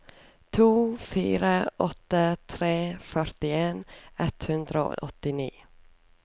to fire åtte tre førtien ett hundre og åttini